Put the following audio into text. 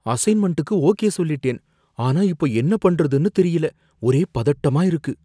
அசைன்மெண்டுக்கு okay சொல்லிட்டேன், ஆனா இப்போ என்ன பண்றதுன்னு தெரியல, ஒரே பதட்டமா இருக்கு.